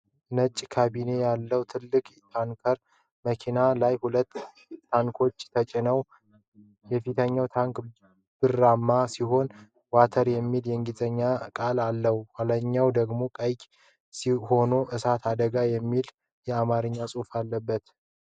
ነጭ ካቢና ያለው ትልቅ ታንከር መኪና ላይ ሁለት ታንኮች ተጭነዋል። የፊተኛው ታንክ ብርማ ሲሆን "WATER" የሚል የእንግሊዝኛ ቃል አለው፤ የኋለኛው ደግሞ ቀይ ሆኖ "እሳት አደጋ" የሚል የአማርኛ ጽሑፍ አለበት።